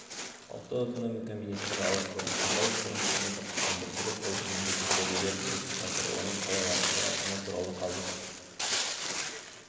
ұлттық экономика министрі ауысты бишімбаев бұрын қызмет атқарған бәйтерек холдингінде тексерулер жүріп жатыр оның қалай аяқталатыны туралы қазір